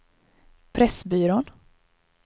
Pressbyrån